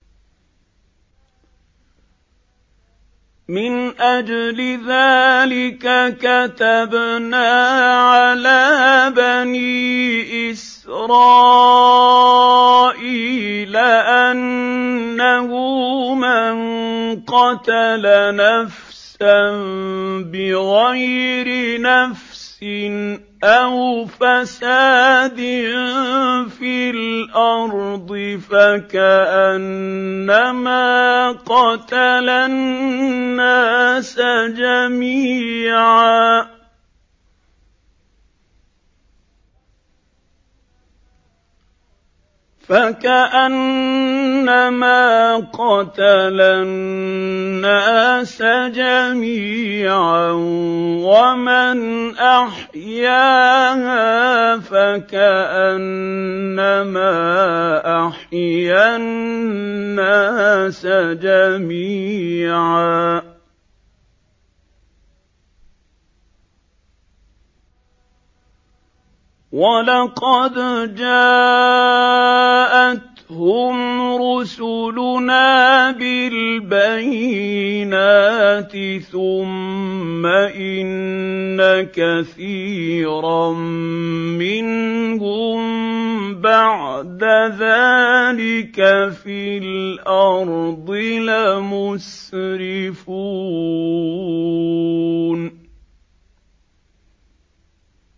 مِنْ أَجْلِ ذَٰلِكَ كَتَبْنَا عَلَىٰ بَنِي إِسْرَائِيلَ أَنَّهُ مَن قَتَلَ نَفْسًا بِغَيْرِ نَفْسٍ أَوْ فَسَادٍ فِي الْأَرْضِ فَكَأَنَّمَا قَتَلَ النَّاسَ جَمِيعًا وَمَنْ أَحْيَاهَا فَكَأَنَّمَا أَحْيَا النَّاسَ جَمِيعًا ۚ وَلَقَدْ جَاءَتْهُمْ رُسُلُنَا بِالْبَيِّنَاتِ ثُمَّ إِنَّ كَثِيرًا مِّنْهُم بَعْدَ ذَٰلِكَ فِي الْأَرْضِ لَمُسْرِفُونَ